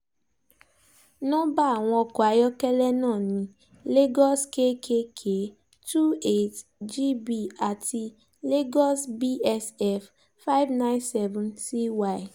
nọ́bá àwọn ọkọ̀ ayọ́kẹ́lẹ́ náà ní lagos kkk twenty eight gb àti lagos bsf five hundred ninety seven cy